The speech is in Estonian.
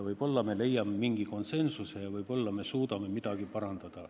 Võib-olla me leiame mingi konsensuse ja võib-olla me suudame midagi parandada.